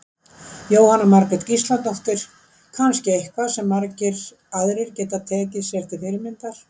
Jóhanna Margrét Gísladóttir: Kannski eitthvað sem margir aðrir geta tekið sér til fyrirmyndar?